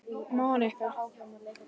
Monika